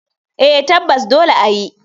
Eh tabbas dole ayi.